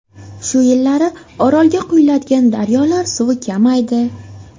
Shu yillari Orolga quyadigan daryolar suvi kamaydi.